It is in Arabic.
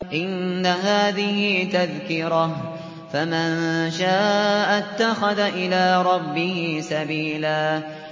إِنَّ هَٰذِهِ تَذْكِرَةٌ ۖ فَمَن شَاءَ اتَّخَذَ إِلَىٰ رَبِّهِ سَبِيلًا